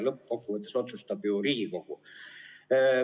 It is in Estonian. Lõppkokkuvõttes otsustab ju Riigikogu.